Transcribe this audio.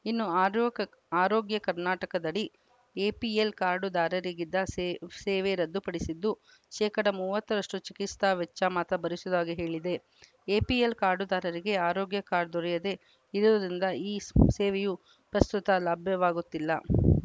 ಇನ್ನು ಆರೋಗ್ ಆರೋಗ್ಯ ಕರ್ನಾಟಕದಡಿ ಎಪಿಎಲ್‌ ಕಾರ್ಡ್‌ದಾರರಿಗಿದ್ದ ಸೇವೆ ರದ್ದುಪಡಿಸಿದ್ದು ಶೇಕಡಾ ಮೂವತ್ತರಷ್ಟು ಚಿಕಿತ್ಸಾ ವೆಚ್ಚ ಮಾತ್ರ ಭರಿಸುವುದಾಗಿ ಹೇಳಿದೆ ಎಪಿಎಲ್‌ ಕಾರ್ಡ್‌ದಾರರಿಗೆ ಆರೋಗ್ಯ ಕಾರ್ಡ್‌ ದೊರೆಯದೆ ಇರುವುದರಿಂದ ಈ ಸ್ ಸೇವೆಯೂ ಪ್ರಸ್ತುತ ಲಭ್ಯವಾಗುತ್ತಿಲ್ಲ